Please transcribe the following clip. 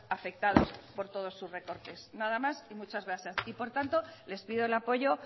afectados por todos sus recortes nada más y muchas gracias y por tanto les pido el apoyo